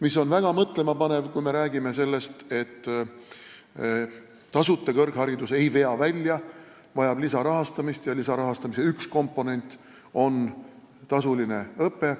See on väga mõtlemapanev, kui me räägime sellest, et tasuta kõrgharidus ei vea välja, vaja läheb lisarahastamist ja lisarahastamise üks komponent on tasuline õpe.